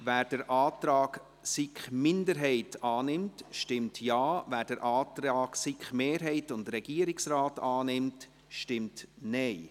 Wer den Antrag SiK-Minderheit annimmt, stimmt Ja, wer den Antrag von SiK-Mehrheit und Regierung annimmt, stimmt Nein.